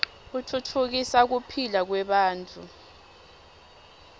utfutfukisa kuphila kwebantfu